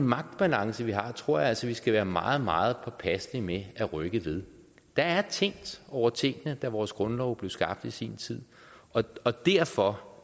magtbalance vi har tror jeg altså vi skal være meget meget påpasselige med at rykke ved der er tænkt over tingene da vores grundlov blev skabt i sin tid og og derfor